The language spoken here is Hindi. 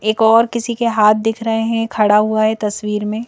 एक और किसी के हाथ दिख रहे हैं खड़ा हुआ है तस्वीर में--